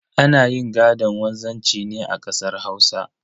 Ana yin gaɗon wanzanci ne a kasar Hausa.